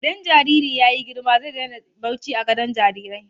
Idan jariri ya yi girma zai daina barci a gadon jarirai.